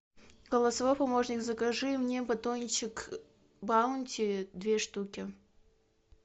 голосовой помощник закажи мне батончик баунти две штуки